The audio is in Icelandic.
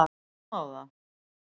Afmá það?